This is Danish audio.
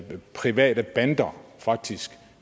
private bander faktisk